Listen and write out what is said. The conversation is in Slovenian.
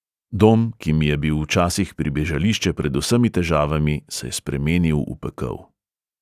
Dom, ki mi je bil včasih pribežališče pred vsemi težavami, se je spremenil v pekel.